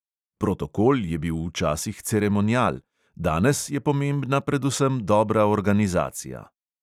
Protokol je bil včasih ceremonial, danes je pomembna predvsem dobra organizacija.